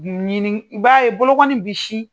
Ɲini i b'a ye boloŋɔni bi si